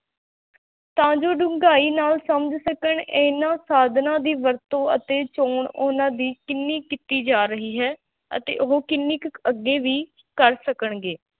ਤਾਂ ਜੋ ਡੂੰਘਾਈ ਨਾਲ ਸਮਝ ਸਕਣ, ਇਹਨਾਂ ਸਾਧਨਾਂ ਦੀ ਵਰਤੋਂ ਅਤੇ ਚੌਣ ਉਹਨਾਂ ਦੀ ਕਿੰਨੀ ਕੀਤੀ ਜਾ ਰਹੀ ਹੈ ਅਤੇ ਉਹ ਕਿੰਨੀ ਕੁ ਅੱਗੇ ਵੀ ਕਰ ਸਕਣਗੇ,